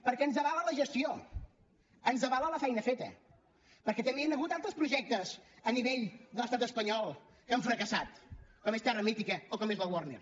perquè ens avala la gestió ens avala la feina feta perquè també hi han hagut altres projectes a nivell de l’estat espanyol que han fracassat com és terra mítica o com és la warner